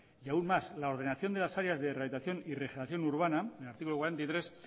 y aun más la ordenación de las áreas de rehabilitación y regeneración urbana en el artículo cuarenta y tres